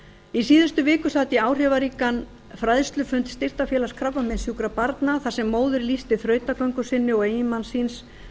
í síðustu viku sat ég áhrifaríkan fræðslufund styrktarfélags krabbameinssjúkra barna þar sem móðir lýsti þrautagöngu sinni og eiginmanns síns